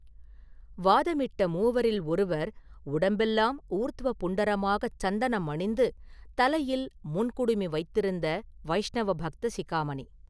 வாதமிட்ட மூவரில் ஒருவர் உடம்பெல்லாம் ஊர்த்வபுண்டரமாகச் சந்தனம் அணிந்து தலையில் முன் குடுமி வைத்திருந்த வைஷ்ணவ பக்த சிக்காமணி.